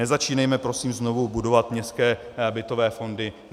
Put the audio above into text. Nezačínejme prosím znovu budovat městské bytové fondy.